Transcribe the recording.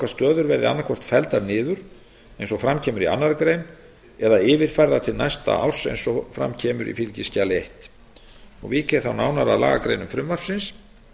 að árslokastöður verði annaðhvort felldar niður eins og fram kemur í annarri grein eða yfirfærðar til næsta árs eins og fram kemur í fylgiskjali fyrstu vík ég þá nánar að lagagreinum frumvarpsins